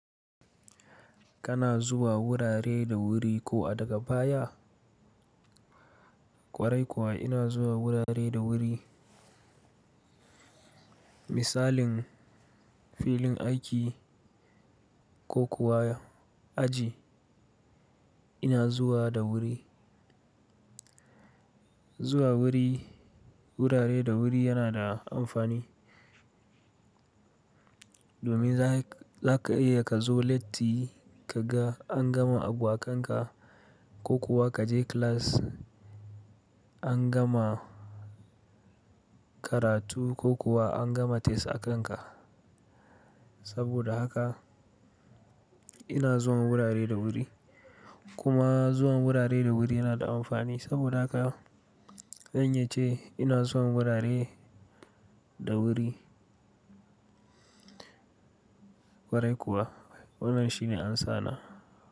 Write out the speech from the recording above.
Kana zuwa wurare da wuri ko a daga baya? Kwarai kuwa ina zuwa wurare da wuri. Misalin filin aiki ko kuwa aji ina zuwa da wuri. Zuwa wuri wurare da wuri yana da amfani domin za ka iya ka zo lattu ka ga an gama abu a kanka ko kuwa ka je class an gama karatu ko kuwa an gama test a kanka. Saboda haka ina zuwa wurare da wuri. Kuma zuwan wurare da wuri yana da amfani saboda haka zan iya ce ina zuwa wurare da wuri. Kwarai kuwa wannan shine amsana.